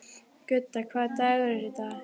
Gudda, hvaða dagur er í dag?